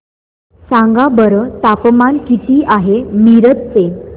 सांगा बरं तापमान किती आहे मिरज चे